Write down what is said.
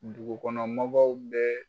Dugukɔnɔ mɔgɔw bɛɛ